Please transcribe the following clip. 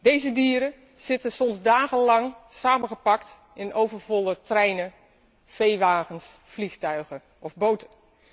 Deze dieren zitten soms dagenlang samengepakt in overvolle treinen, veewagens, vliegtuigen of boten.